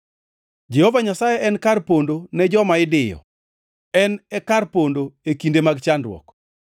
Jehova Nyasaye en kar pondo ne joma idiyo, en e kar pondo e kinde mag chandruok.